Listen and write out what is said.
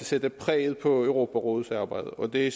sætte præg på europarådets arbejde og det